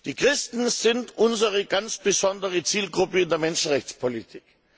Die Christen sind unsere ganz besondere Zielgruppe in der Menschenrechtspolitik.